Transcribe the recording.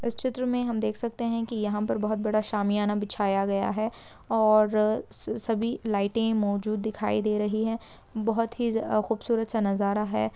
इस चित्र मे हम देख सकते हैं की यहाँ पर बहोत बड़ा शामियाना बिछाया गया है और अ स-सभी लाइटे मौजूद दिखाई दे रही है बहोत ही खूबसूरत सा नज़ारा है।